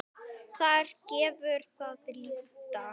Þar gefur að líta